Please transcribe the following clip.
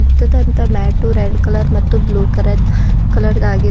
ತುದಂತ matte red colour ಮತ್ತು blue ಕರ ಕಲರ್ ದಾಗಿದೆ.